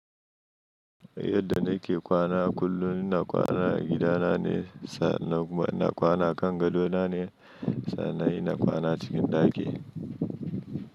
Yadda na ke kwana, kullun ina kwana a gida na ne, sa'annan kuma ina kwana kan gadona ne, sa'annan ina kwana cikin ɗaki.